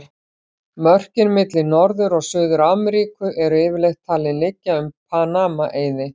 Mörkin milli Norður- og Suður-Ameríku eru yfirleitt talin liggja um Panama-eiði.